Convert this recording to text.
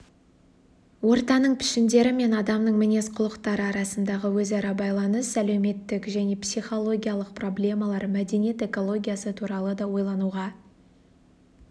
ортаның пішіндері мен адамның мінез-құлықтары арасындағы өзара байланыс әлеуметтік және психологиялық проблемалар мәдениет экологиясы туралы да ойлануға